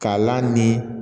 K'a la ni